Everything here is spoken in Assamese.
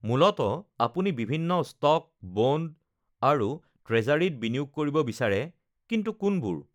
মূলতঃ, আপুনি বিভিন্ন ষ্টক, বণ্ড আৰু ট্ৰেজাৰীত বিনিয়োগ কৰিব বিচাৰে- কিন্তু কোনবোৰ?